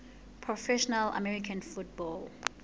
professional american football